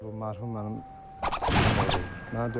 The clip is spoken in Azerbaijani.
Bu mərhum mənim dayımoğlu idi.